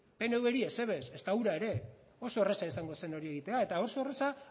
pnvri ezer ere ez ezta hura ere oso erraza izango zen hori egitea eta oso erraza